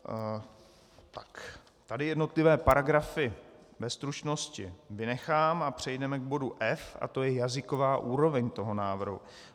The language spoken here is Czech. Tady jednotlivé paragrafy ve stručnosti vynechám a přejdeme k bodu F a to je jazyková úroveň toho návrhu.